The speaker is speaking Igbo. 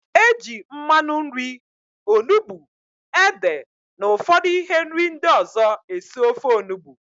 Eji mmanụ nri, onugbu, ede na ụfọdụ ihe nri ndị ọzọ esi ofe Onugbu